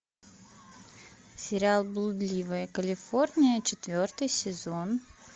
сериал блудливая калифорния четвертый сезон